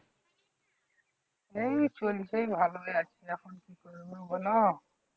এই চলছে এই ভালো ভাবে যাচ্ছিলাম। তুমি বল?